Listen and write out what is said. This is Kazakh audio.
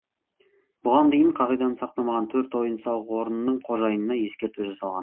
бұған дейін қағиданы сақтамаған төрт ойын сауық орнының қожайынына ескерту жасалған